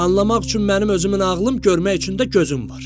Anlamaq üçün mənim özümün ağlım, görmək üçün də gözüm var.